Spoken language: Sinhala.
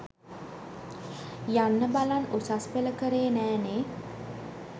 යන්න බලන් උසස්පෙළ කරේ නෑනේ.